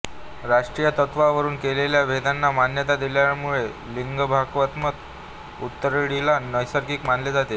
राष्ट्रीयत्वावरून केलेल्या भेदांना मान्यता दिल्यामुळे लिंगभावात्म्क उतरंडीला नैसर्गिक मानले जाते